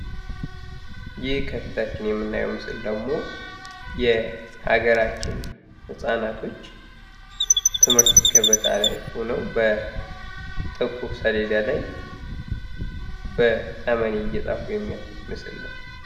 ይህ ከፊታችን የምናየው ምስል ደግሞ የሀገራችን ህጻናቶች ትምህርት ገበታ ላይ ሆነው በጥቁር ሰሌዳ ላይ በጠመኔ እየጻፉ የሚያሳይ ምስል ነው።